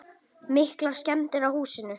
Breki: Miklar skemmdir á húsinu?